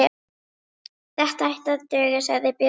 Þetta ætti að duga, sagði Björn.